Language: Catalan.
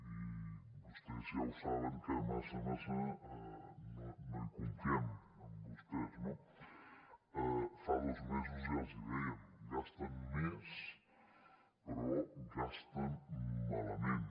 i vostès ja ho saben que massa massa no hi confiem en vostès no fa dos mesos ja els hi dèiem gasten més però gasten malament